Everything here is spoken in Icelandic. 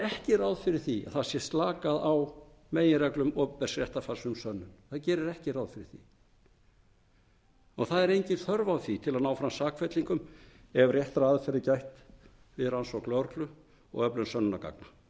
ekki ráð fyrir því að slakað sé á meginreglum opinbers réttarfars um sönnun það gerir ekki ráð fyrir því og það er engin þörf á því til að ná fram sakfellingum ef réttra aðferða er gætt við rannsókn lögreglu og öflun sönnunargagna